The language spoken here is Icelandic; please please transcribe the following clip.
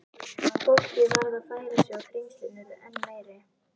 Fólkið varð að færa sig og þrengslin urðu enn meiri.